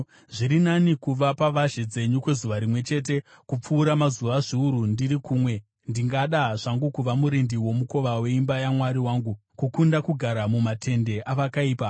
Zviri nani kuva pavazhe dzenyu kwezuva rimwe chete, kupfuura mazuva zviuru ndiri kumwe; ndingada zvangu kuva murindi womukova weimba yaMwari wangu kukunda kugara mumatende avakaipa.